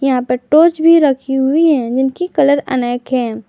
यहां पर टॉर्च भी रखी हुई है जिनकी कलर अनेक है।